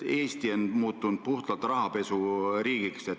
Eesti on muutunud puhtalt rahapesu riigiks.